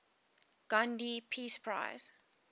gandhi peace prize